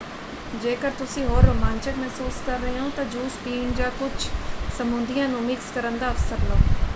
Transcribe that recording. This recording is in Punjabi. ਜੇਕਰ ਤੁਸੀਂ ਹੋਰ ਰੋਮਾਂਚਕ ਮਹਿਸੂਸ ਕਰ ਰਹੇ ਹੋ ਤਾਂ ਜੂਸ ਪੀਣ ਜਾਂ ਕੁੱਝ ਸਮੂਦੀਆਂ ਨੂੰ ਮਿਕਸ ਕਰਨ ਦਾ ਅਵਸਰ ਲਓ: